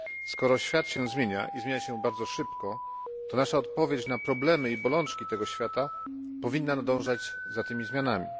Skoro świat się zmienia, i zmienia się bardzo szybko, to nasza odpowiedź na problemy i bolączki tego świata powinna nadążać za tymi zmianami.